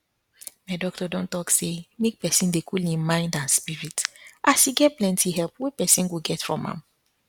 my doctor don talk say make pesin dey cool im mind and spirit as e get plenty help wey pesin go get from am